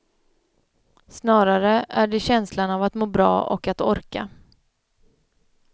Snarare är det känslan av att må bra och att orka.